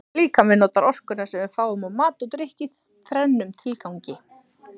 Líkaminn notar orkuna sem við fáum úr mat og drykk í þrennum tilgangi.